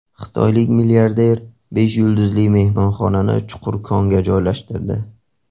Xitoylik milliarder besh yulduzli mehmonxonani chuqur konga joylashtirdi.